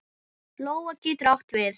Lóa getur átt við